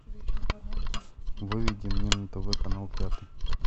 выведи мне на тв канал пятый